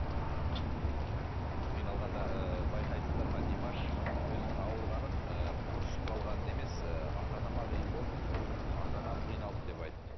қиналғанда ы байқайсыздар ма димаш өзінің ауырғанын ы құрысып қалғанын емес ы ата анама қиын болды ы ата анам қиналды деп айтты